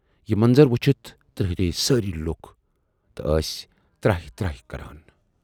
یہِ منظر وُچھِتھ ترہرییہِ سٲری لوٗکھ تہٕ ٲسۍ تراہہِ تراہہِ کران۔